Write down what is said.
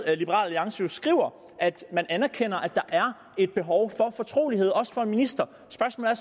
alliance jo skriver at man anerkender at der er et behov for fortrolighed også for en minister spørgsmålet